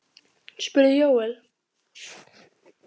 spurði Jóel.